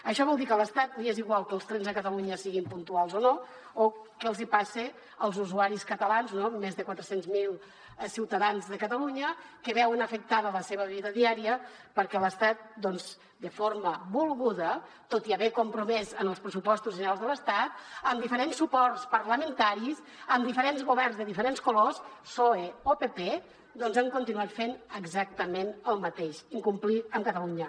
això vol dir que a l’estat li és igual que els trens a catalunya siguin puntuals o no o què els hi passa als usuaris catalans no més de quatre cents miler ciutadans de catalunya que veuen afectada la seva vida diària perquè l’estat de forma volguda tot i haver s’hi compromès en els pressupostos generals de l’estat amb diferents suports parlamentaris amb diferents governs de diferents colors psoe o pp doncs ha continuat fent exactament el mateix incomplir amb catalunya